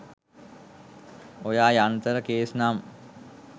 ඔය යන්තර කේස් නම්